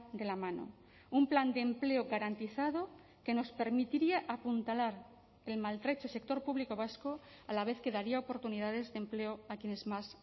de la mano un plan de empleo garantizado que nos permitiría apuntalar el maltrecho sector público vasco a la vez que daría oportunidades de empleo a quienes más